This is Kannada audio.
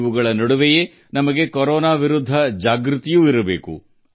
ಇದೆಲ್ಲದರ ನಡುವೆ ನಾವು ಕೊರೊನಾ ವಿರುದ್ಧ ಮುಂಜಾಗ್ರತೆ ವಹಿಸಬೇಕಿದೆ